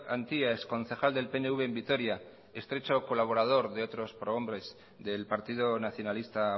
antia ex concejal del pnv en vitoria estrecho colaborador de otros pro hombres del partido nacionalista